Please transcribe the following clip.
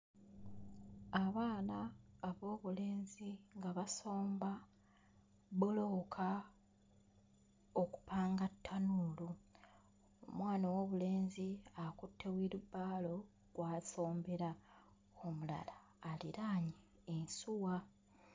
Abaana ab'obulenzi nga basomba bbulooka okupanga ttanuulu. Omwana ow'obulenzi akutte wirubaalo kw'asombera, omulala aliraanye ensuwa.